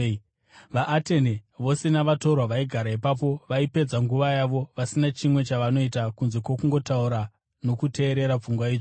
(VaAtene vose navatorwa vaigara ipapo vaipedza nguva yavo vasina chimwe chavanoita kunze kwokungotaura nokuteerera pfungwa itsva).